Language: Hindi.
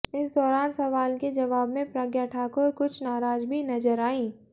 इस दौरान सवाल के जवाब में प्रज्ञा ठाकुर कुछ नाराज भी नजर आईं